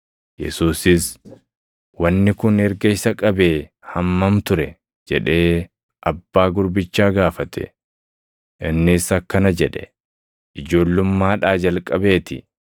Yesuusis, “Wanni kun erga isa qabee hammam ture?” jedhee abbaa gurbichaa gaafate. Innis akkana jedhe; “Ijoollummaadhaa jalqabee ti.